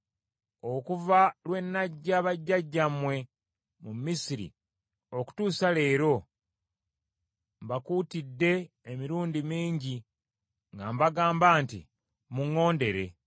Okuva lwe naggya bajjajjammwe mu Misiri okutuusa leero, mbakuutidde emirundi mingi nga mbagamba nti, “Muŋŋondere.”